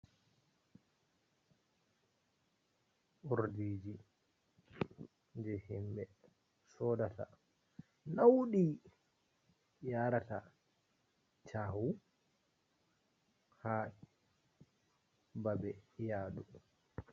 Urdiji je himɓe sodata nauɗi yarata caahu haa babe yadu.